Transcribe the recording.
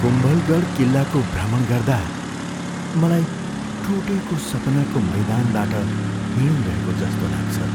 कुम्भलगढ किल्लाको भ्रमण गर्दा मलाई टुटेको सपनाको मैदानबाट हिँडिरहेको जस्तो लाग्छ।